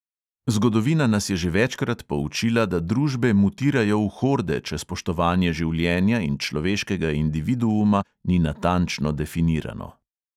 Zgodovina nas je že večkrat poučila, da družbe mutirajo v horde, če spoštovanje življenja in človeškega individuuma ni natančno definirano.